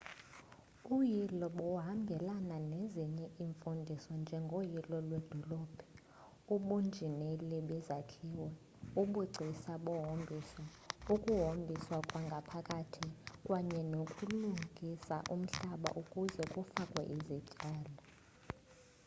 uyilo buhambelana nezinye iimfundiso njengoyilo lwedolophu ubunjineli bezakhiwo ubugcisa bohombiso ukuhombisakwngaaphakathi kwaye nokulungisa umhlaba ukuze kufakwe izityalo